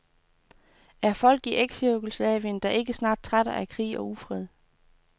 Er folk i eksJugoslavien da ikke snart trætte af krig og ufred?